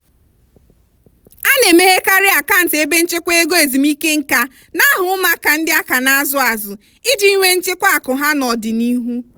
a na-emeghekarị akant ebe nchekwa ego ezumike nkā n'aha ụmụaka ndị aka na-azụ azụ iji nwee nchekwa akụ ha n'ọdịnihu.